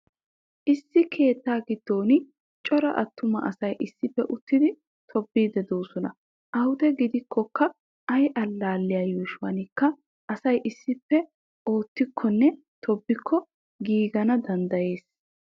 Issi keettaa giddon cora attuma asay issippe uttidi tobbiiddi de'oosona. Awude gidikkokka ay allaalliya yuushuwankka asay issippe oottikkonne tobbikko giigana danddayees.